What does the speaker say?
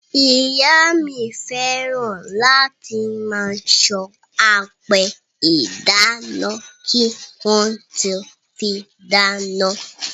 Ìyá mi fẹ́ràn láti máa san apẹ ìdáná kí wọ́n tó fí dáná.